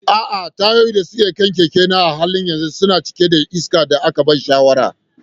A'a, tayoyin da ke kan keke na a halin yanzu suna cike da iskar da aka bani shawara.